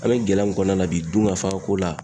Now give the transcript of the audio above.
An bɛ gɛlɛya min kɔnɔna na bi dunkafako la.